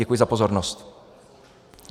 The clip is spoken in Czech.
Děkuji za pozornost.